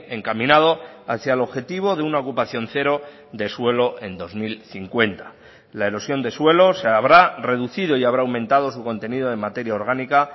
encaminado hacia el objetivo de una ocupación cero de suelo en dos mil cincuenta la erosión de suelos se habrá reducido y habrá aumentado su contenido en materia orgánica